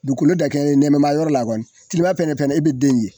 Duukolo dakɛɲɛ nɛmɛma yɔrɔ la kɔni tilema fɛnɛ fɛnɛ e be den ye.